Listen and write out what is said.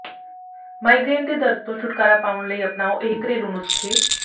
migraine ਦੇ ਦਰਦ ਤੋਂ ਛੁਟਕਾਰਾ ਪਾਉਣ ਲਈ ਅਪਣਾਓ ਇਹ ਘਰੇਲੂ ਨੁਸਖੇ